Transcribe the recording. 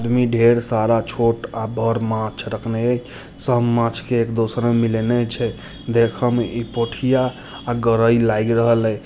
इमें ढेर सारा छोट अ बड़ मांछ रखने है सब मांछ एक दोसरा में मिलएले छै देखे में इ पोठिया और गरइल लाग रहल --